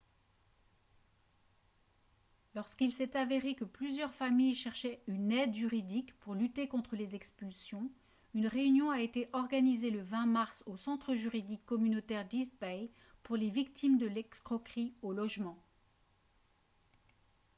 lorsqu'il s'est avéré que plusieurs familles cherchaient une aide juridique pour lutter contre les expulsions une réunion a été organisée le 20 mars au centre juridique communautaire d'east bay pour les victimes de l'escroquerie au logement